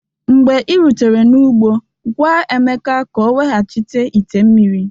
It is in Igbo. Mgbe i rutere n'ugbo gwa Emeka ka o weghachite ite mmiri